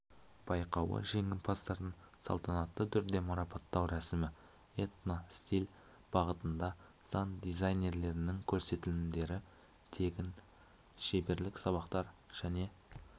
байқауы жеңімпаздарын салтанатты түрде марапаттау рәсімі этно-стиль бағытында сән дизайнерлерінің көрсетілімдері тегін шеберлік сабақтар және